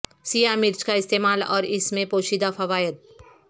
سیاہ مرچ کا استعمال اور اس میں پوشیدہ فوائد